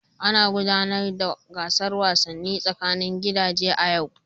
Ana gudanar da gasar wasannin tsakanin gidaje a yau.